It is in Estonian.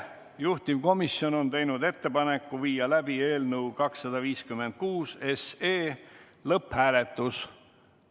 Juhtivkomisjon on teinud ettepaneku viia läbi eelnõu 256 lõpphääletus.